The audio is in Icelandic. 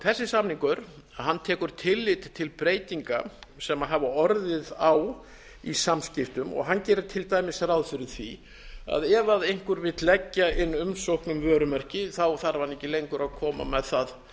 þessi samningur tekur tillit til breytinga sem hafa orðið á í samskiptum og hann gerir til dæmis ráð fyrir því að ef einhver vill leggja inn umsókn um vörumerki þarf hann ekki lengur að koma